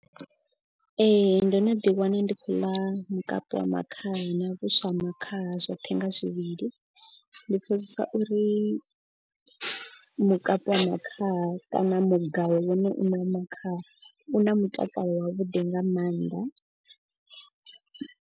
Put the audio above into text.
Ee ndo no ḓi wana ndi khou ḽa mukapu wa makhaha na vhuswa ha makhaha zwoṱhe nga zwivhili. Ndi pfhesesa uri mukapu wa makhaha kana mugayo wone u ṋe wa makhaha u na mutakalo wa vhuḓi nga mannḓa.